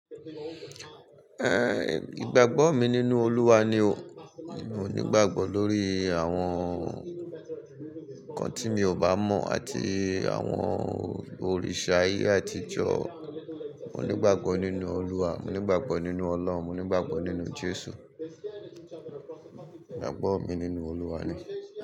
Ẹn, ìgbàgbọ́ mi nínú Olúwa ni o. Mo nígbàgbọ́ lórí àwọn nnkan tí mi ò bá mọ̀ àti àwọn òrìṣà ayé àtijọ́. Mo nígbàgbọ́ nínú Olúwa, mo nígbàgbọ́ nínú Ọlọ́run, mo nígbàgbọ́ nínú Jésù. Ìgbàgbọ́ mi nínú Olúwa ni.